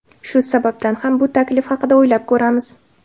Shu sababdan ham bu taklif haqida o‘ylab ko‘ramiz.